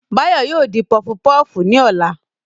Báyọ̀ yóò dín pọfupọ́ọ̀fù ní ọ̀la